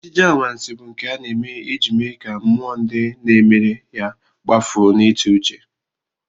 Ejije anwansị bụ nke a na-eme iji mee ka mmụọ ndị na-emere ya kpafuo n'ịtụuche